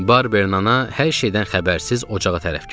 Barberin ana hər şeydən xəbərsiz ocağa tərəf gəldi.